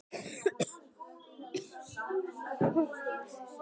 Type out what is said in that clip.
Málefnin voru rökrædd á bága bóga.